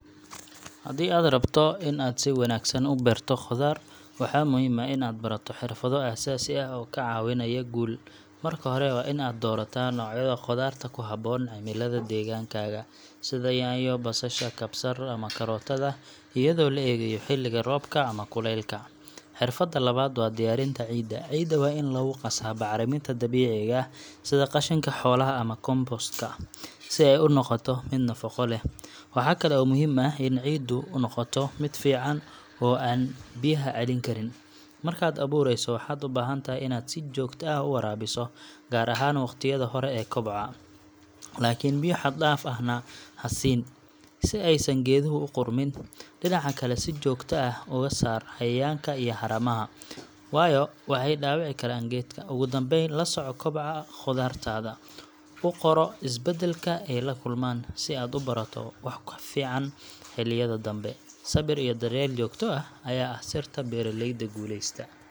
Haddii aad rabto in aad si wanaagsan u beerto khudaar, waxaa muhiim ah in aad barato xirfado aasaasi ah oo kaa caawinaya guul. Marka hore, waa in aad doorataa noocyada khudaarta ku habboon cimilada deegaankaaga, sida yaanyo, basasha, kabsar ama karootada, iyadoo la eegayo xilliga roobka ama kulaylka. Xirfadda labaad waa diyaarinta ciidda. Ciidda waa in lagu qasaa bacriminta dabiiciga ah sida qashinka xoolaha ama compost ka, si ay u noqoto mid nafaqo leh. Waxa kale oo muhiim ah in ciiddu noqoto mid fiican oo aan biyaha celin karin. Markaad abuurayso, waxaad u baahan tahay in aad si joogto ah u waraabiso, gaar ahaan waqtiyada hore ee kobaca. Laakiin biyo xad-dhaaf ahna ha siin, si aysan geeduhu u qudhmin. Dhinaca kale, si joogto ah uga saar cayayaanka iyo haramaha, waayo waxay dhaawici karaan geedka. Ugu dambayn, la soco kobaca khudaartaada, oo qoro isbeddelka ay la kulmaan, si aad u barato wax ka fiican xilliyada danbe. Sabir iyo daryeel joogto ah ayaa ah sirta beeraleyda guuleysta.